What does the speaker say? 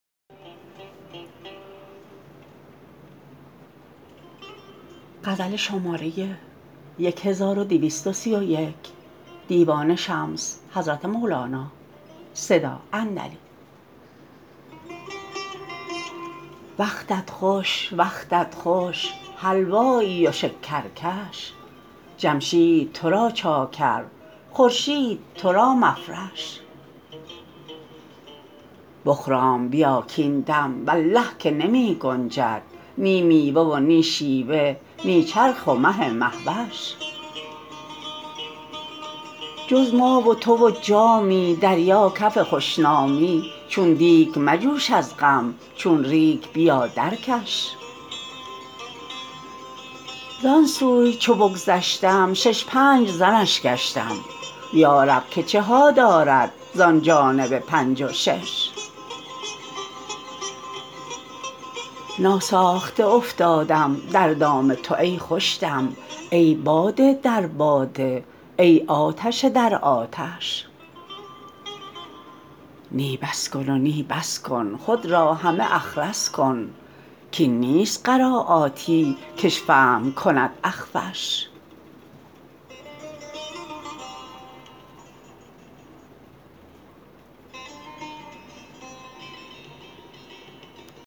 وقتت خوش وقتت خوش حلوایی و شکرکش جمشید تو را چاکر خورشید تو را مفرش بخرام بیا کاین دم والله که نمی گنجد نی میوه و نی شیوه نی چرخ و مه و مه وش جز ما و تو و جامی دریا کف خوش نامی چون دیگ مجوش از غم چون ریگ بیا درکش زان سوی چو بگذشتم شش پنج زنش گشتم یا رب که چه ها دارد زان جانب پنج و شش ناساخته افتادم در دام تو ای خوش دم ای باده در باده ای آتش در آتش نی بس کن و نی بس کن خود را همه اخرس کن کاین نیست قرایاتی کش فهم کند اخفش